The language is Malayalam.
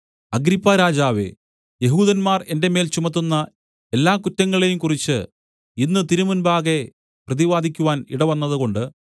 അഗ്രിപ്പാരാജാവേ യെഹൂദന്മാർ എന്റെ മേൽ ചുമത്തുന്ന എല്ലാ കുറ്റങ്ങളെയും കുറിച്ച് ഇന്ന് തിരുമുമ്പാകെ പ്രതിവാദിക്കുവാൻ ഇടവന്നതുകൊണ്ട്